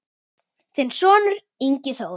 Þinn sonur, Ingi Þór.